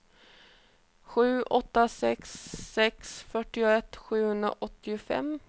sju åtta sex sex fyrtioett sjuhundraåttiofem